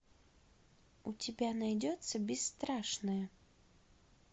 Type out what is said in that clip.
у тебя найдется бесстрашная